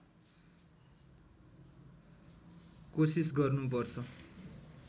कोसिस गर्नुपर्छ